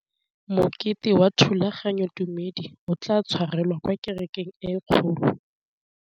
Mokete wa thulaganyôtumêdi o tla tshwarelwa kwa kerekeng e kgolo.